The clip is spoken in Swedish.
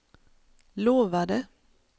lovade